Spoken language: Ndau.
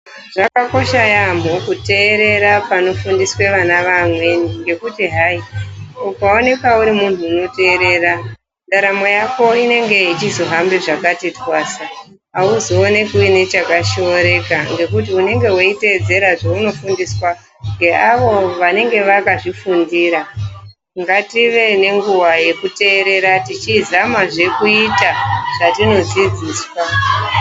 Zvakakosha yaamho kuterera panofundiswa vana veamweni ngekuti hai ukaonekwa uri muntu unoterera ndaramo yako inenge ichizohambe zvakati twasa. Hauzoonekwi uine chakashoreka ngekuti unenge veitedzera zveunofundiswa ngeavo vanenge vakazvifundira ngative nenguva yekuterera tichizamazve kuita zvatinodzidziswa.